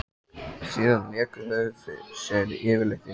Síðan léku þau sér yfirleitt inni.